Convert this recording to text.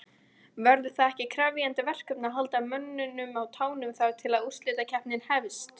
Verður það ekki krefjandi verkefni að halda mönnum á tánum þar til að úrslitakeppnin hefst?